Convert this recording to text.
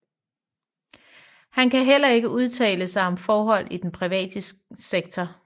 Han kan hellere ikke udtale sig om forhold i den private sektor